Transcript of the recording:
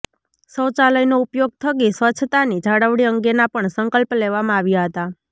શૌચાલયનો ઉપયોગ થકી સ્વચ્છતાની જાળવણી અંગેના પણ સંકલ્પ લેવામાં આવ્યા હતા